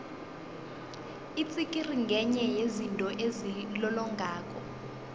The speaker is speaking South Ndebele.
itsikiri ngenye yezinto ezilolongako